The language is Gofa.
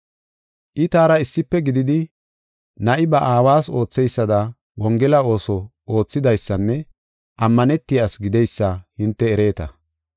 I taara issife gididi na7i ba aawas ootheysada Wongela ooso oothidaysanne ammanetiya asi gideysa hinte ereeta.